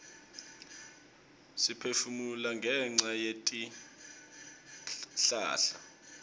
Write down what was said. siphefumula ngenca yetihlahla